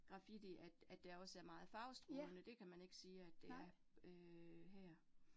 Graffiti, at at der også er meget farvestrålende, det kan man ikke sige, at det er øh her